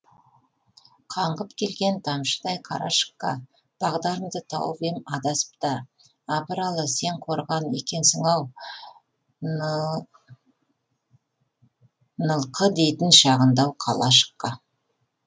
қаңғып келген тамшыдай қарашыққа бағдарымды тауып ем адасып та абыралы сен қорған екенсің ау нылқы дейтін шағындау қалашыққа